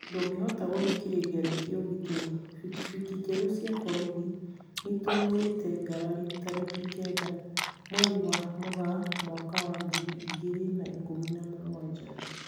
Ndũngĩhota gũthikĩrĩria rĩngĩ ũgitĩri, Bikibiki njerũ cia borithi nĩitumũrĩte ngarari tarĩki kenda mweri wa Mugaa mwaka wa ngiri igĩri na ikũmi na mũgwanja